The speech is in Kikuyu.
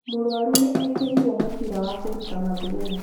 Mũrũaru nĩekĩrirwo mũbira wa kũruta mathugumo.